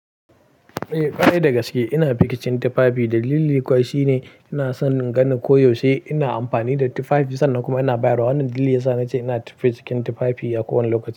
Eh ƙwarai da gaske ina biki cin tufafi. Dalili kuwa shine ina son ganin ko yaushe ina amfani da tufafi sannan kuma ina bayarwa. Wannan dalili ya sa na ce ina tafiya cikin tufafi a kowane lokaci.